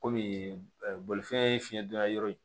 Kɔmi bolifɛn ye fiɲɛ donna yɔrɔ ye